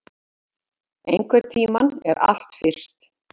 Einhvern tímann er allt fyrst